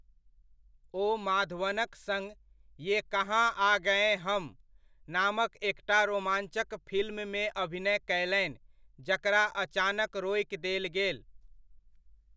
ओ माधवनक सङ्ग 'ये कहाँ आ गए हम' नामक एकटा रोमाञ्चक फिल्ममे अभिनय कयलनि, जकरा अचानक रोकि देल गेल।